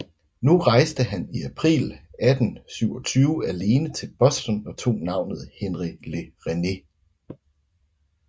Nu rejste han i april 1827 alene til Boston og tog navnet Henri Le Rennet